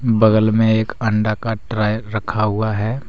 बगल में एक अंडा का ट्रे रखा हुआ है।